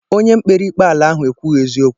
Onye kpere ikpe ala ahụ ekwughi eziokwu.